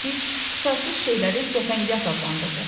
Biz tutarsız şeyləri cəfəngiyat adlandırırıq.